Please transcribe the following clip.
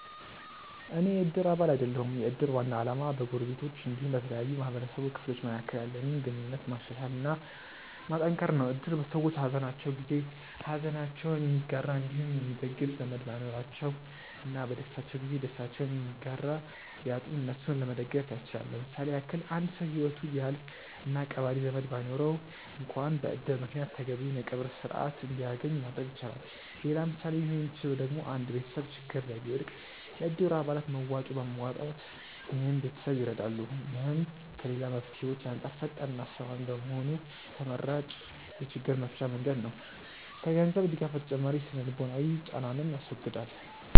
አኔ የ እድር አባል አይደለሁም። የ እድር ዋና አላማ በ ጎረቤቶች አንዲሁም በተለያዩ የ ማህበረሰቡ ክፍሎች መካከል ያለንን ግንኙነት ማሻሻል እና ማጠንከር ነው። እድር ሰዎች በ ሃዘናቸው ጊዜ ሃዘናቸውን የሚጋራ አንዲሁም የሚደግፍ ዘመድ ባይኖራቸው እና በ ደስታቸው ጊዜ ደስታቸውን የሚጋራ ቢያጡ እነሱን ለመደገፍ ያስችላል። ለምሳሌ ያክል አንድ ሰው ሂወቱ ቢያልፍ እና ቀባሪ ዘመድ ባይኖረው አንክዋን በ እድር ምክንያት ተገቢውን የ ቀብር ስርዓት አንድያገኝ ማድረግ ይቻላል። ሌላ ምሳሌ ሊሆን ሚችለው ደግሞ አንድ ቤተሰብ ችግር ላይ ቢወድቅ የ እድሩ አባላት መዋጮ በማዋጣት ይህን ቤተሰብ ይረዳሉ። ይህም ከ ሌላ መፍትሄዎች አንጻር ፈጣን እና አስተማማኝ በመሆኑ ተመራጭ የ ችግር መፍቻ መንገድ ነው። ከ ገንዘብ ድጋፍ ተጨማሪ የ ስነ-ልቦናዊ ጫናንንም ያስወግዳል።